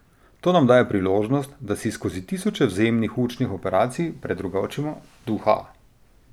To nam daje priložnost, da si skozi tisoče vzajemnih učnih operacij predrugačimo duha.